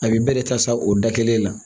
A bɛ bɛɛ de ta sa o da kelen na